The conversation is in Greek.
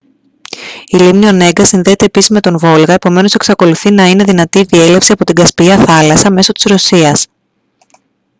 η λίμνη ονέγκα συνδέεται επίσης με τον βόλγα επομένως εξακολουθεί να είναι δυνατή η διέλευση από την κασπία θάλασσα μέσω της ρωσίας